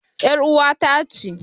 ƴar uwata ce.